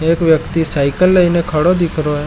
एक व्यक्ति साइकिल लए खड़ा दिखे रहो है।